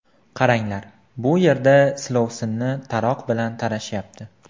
Qaranglar, bu yerda silovsinni taroq bilan tarashyapti.